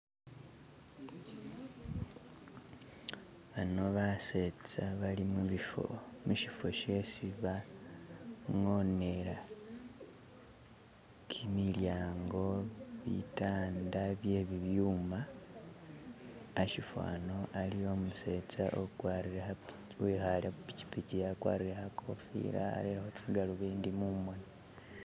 Bano basetsa bali mubifo mushifo shesi bangonela kimilyango bitanda bye bi byuma hashifo hano haliwo umusetsa ugwarile wikhale ku pichipich[ akwarile khakofila arelekho tsigalobindi mumoni